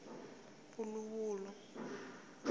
puluvulu